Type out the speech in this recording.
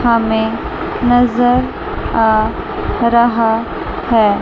हमें नजर आ रहा है।